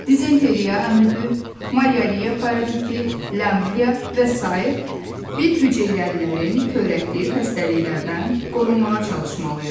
Dizenteriya, amöbü, malyariya paraziti, lyamblia və sair bir hüceyrəlilərin törətdiyi xəstəliklərdən qorunmağa çalışmalıyıq.